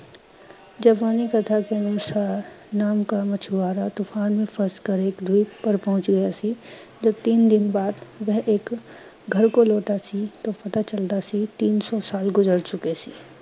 ਜਾਪਾਨੀ ਕਥਾ ਕੇ ਅਨੁਸਾਰ ਨਾਵ ਕਾ ਮਛੁਆਰਾ, ਤੁਫਾਨ ਮੇਂ ਫੰਸ ਕਰ ਏਕ ਪਰ ਪਹੁੰਚ ਗਿਆ ਸੀ। ਜਬ ਤੀਨ ਦਿਨ ਬਾਅਦ ਵਹਿ ਏਕ ਘਰ ਕੋ ਲੌਟਾ ਸੀ ਤੋ ਪਤਾ ਚਲਦਾ ਸੀ ਤੀਨ ਸੌ ਸਾਲ ਗੁਜ਼ਰ ਚੁਕੇ ਸੀ।